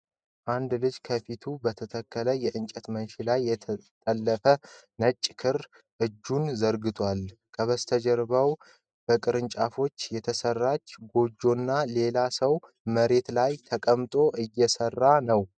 አንድ ልጅ ከፊቱ በተተከለ የእንጨት መንሽ ላይ የተጠለፈ ነጭ ክር እጁን ዘርግቷል። ከበስተኋላው በቅርንጫፎች የተሠራች ጎጆና ሌላ ሰው መሬት ላይ ተቀምጦ እየሰራ ነው።